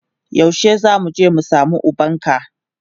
Yaushe zamu je mu samu ubanka